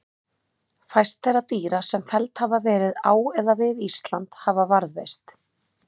Fæst þeirra dýra sem felld hafa verið á eða við Ísland hafa varðveist.